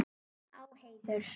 Á heiður.